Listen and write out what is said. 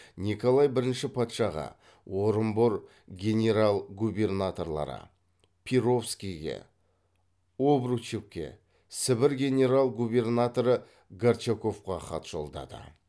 николай бірінші патшаға орынбор генерал губернаторлары перовскийге обручевке сібір генерал губернаторы горчаковқа хат жолдады